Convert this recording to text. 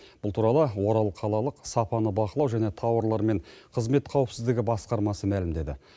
бұл туралы орал қалалық сапаны бақылау және тауарлар мен қызмет қауіпсіздігі басқармасы мәлімдеді